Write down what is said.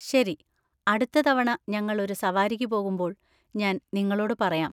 ശരി, അടുത്ത തവണ ഞങ്ങൾ ഒരു സവാരിക്ക് പോകുമ്പോൾ ഞാൻ നിങ്ങളോട് പറയാം.